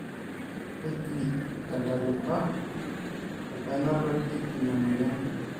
kejii si tentalipa apainotoki ina moyian